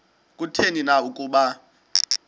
kutheni na ukuba